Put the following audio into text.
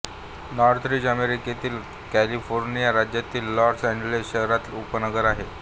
Northridge अमेरिकेतील California राज्यातील Los Angeles शहराचे उपनगर आहे